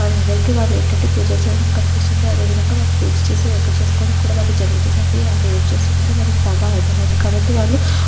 వాళ్లందరికీ వాళ్లు ఏంటంటే పూజలు చేయడం కనిపిస్తుంది.అదే విధంగా వాళ్లు పూజ చేసి ఓకే చేసుకోవడం కూడా వాళ్ళు జరుగుతుంది అండి. ఆడ ఏం చేస్తున్నారో వాళ్లకు బాగా అర్థమైంది కాబట్టి వాళ్లు--